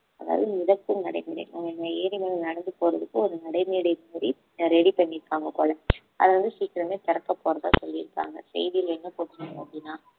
அதாவது மிதக்கும் நடைமேடை அவங்க அந்த ஏரில நடந்து போறதுக்கு ஒரு நடைமேடை மாறி ready பண்ணி இருக்காங்க போல அதை வந்து சீக்கிரமே திறக்க போறதா சொல்லியிருக்காங்க செய்தியில என்ன போட்ருக்காங்க அப்படின்னா